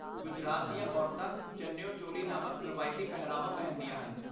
ਗੁਜਰਾਤ ਦੀਆਂ ਔਰਤਾਂ ਚੰਨਿਓ ਚੋਲੀ ਨਾਮਕ ਰਵਾਇਤੀ ਪਹਿਰਾਵਾ ਪਹਿਨਦੀਆਂ ਹਨ।